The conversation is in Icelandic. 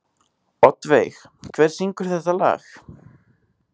Oddveig, hver syngur þetta lag?